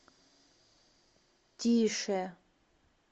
тише